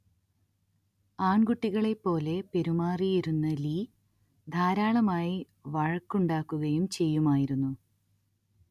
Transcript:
ആൺകുട്ടികളെപ്പോലെ പെരുമാറുമായിരുന്ന ലീ ധാരാളമായി വഴക്കുണ്ടാക്കുകയും ചെയ്യുമായിരുന്നു